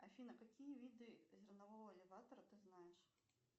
афина какие виды зернового элеватора ты знаешь